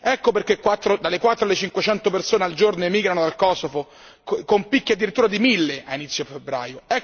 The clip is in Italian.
Ecco perché dalle quattro alle cinquecento persone al giorno emigrano dal Kosovo con picchi addirittura di mille a inizio febbraio.